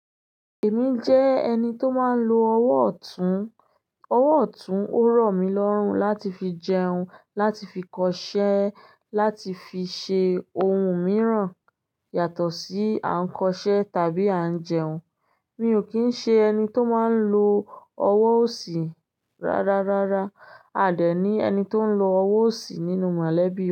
Èmi jẹ́ ẹni tó máa n lo ọwọ́ ọ̀tún. Ọwọ́ ọ̀tún ó rọ̀ mí lọ́rùn láti fi jẹun, láti fi kọṣẹ́, láti fi ṣe ohun mìíràn yàtọ̀ sí a ń kọṣẹ́ tàbí à ń jẹun. Mi ò kí ń ṣe ẹni tó máa n lo ọwọ́ òsì rárárárá. A dẹ̀ ní ẹni tó n lo ọwọ́ òsì nínú mọ̀lẹ́bí yìí.